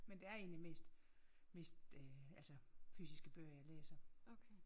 Men det er egentlig mest øh altså fysiske fysiske bøger jeg læser